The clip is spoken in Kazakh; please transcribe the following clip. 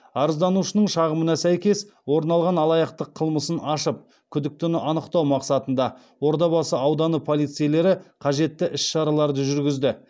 арызданушының шағымына сәйкес орын алған алаяқтық қылмысын ашып күдіктіні анықтау мақсатында ордабасы ауданы полицейлері қажетті іс шараларды жүргізді